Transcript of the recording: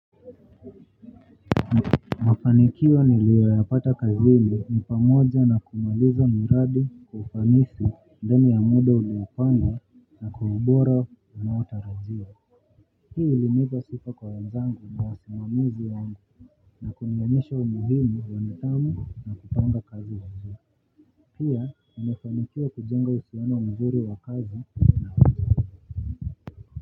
Mafanikio niliyoyapata kazini ni pamoja na kumaliza miradi kwa ufanisi ndani ya muda unapangwa na kwa ubora unaotarajiwa hii ilinipa sifa kwa wenzangu ni wasimamizi wangu na kunionesha umuhimu wa nidhamu na kupanga kazi wangu pia nimefanikiwa kujenga usehemu mzuri wa kazi.